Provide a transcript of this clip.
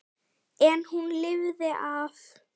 En hún lifði af.